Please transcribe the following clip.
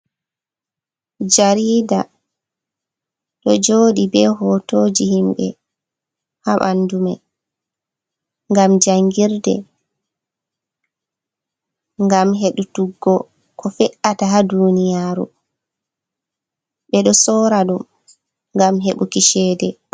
Jarida ɗo joɗi be hotoji himɓe ha bandu mai gam jangirde, gam heɗutuggo ko fe’ata ha duniyaru, ɓe ɗo sora ɗum gam hebuki cede.